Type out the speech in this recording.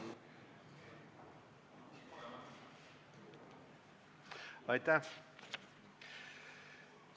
Aitäh!